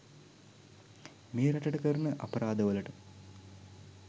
මේ රටට කරන අපරාද වලට.